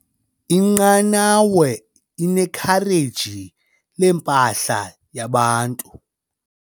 Inqanawa inekhareji lempahla yabahambi.